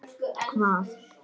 Hvað gerði faðir þinn?